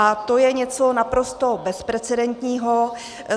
A to je něco naprosto bezprecedentního.